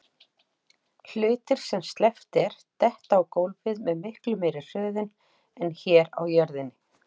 Hlutir sem sleppt er detta á gólfið með miklu meiri hröðun en hér á jörðinni.